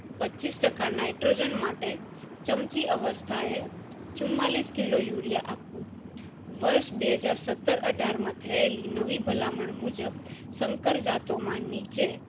પચીસ ટકા nitrogen માટે ચમચી અવસ્થા એ ચૂમમાલીસ kilo urea વર્ષ આપવું વર્ષ બેહજાર સત્તર અઢાર માં થયેલી નવી ભલામણ મુજબ સંકર જાત નો માની છે